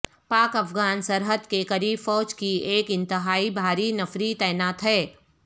پاک افغان سرحد کے قریب فوج کی ایک انتہائی بھاری نفری تعینات ہے